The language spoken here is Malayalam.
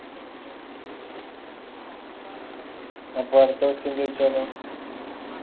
അപ്പൊ അടുത്ത question ചോയിച്ചാലോ